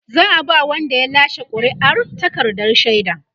za'a ba Wanda ya lashe ƙuri'ar takardar shaida